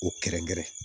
O kɛrɛnkɛrɛn